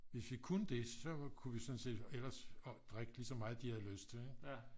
hvis vi kunne det så ku vi sådan set ellers drikke lige så meget de havde lyst til